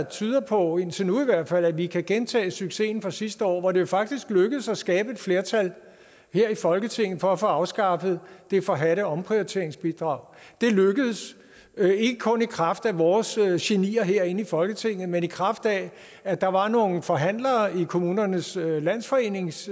tyder på indtil nu i hvert fald at vi kan gentage succesen fra sidste år hvor det faktisk lykkedes at skabe et flertal her i folketinget for at få afskaffet det forhadte omprioriteringsbidrag det lykkedes ikke kun i kraft af vores genier herinde i folketinget men i kraft af at der var nogle forhandlere i kommunernes landsforenings